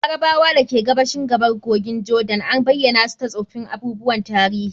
Jordan, al'ummar Larabawa da ke gabashin gabar kogin Jordan, an bayyana su ta tsoffin abubuwan tarihi.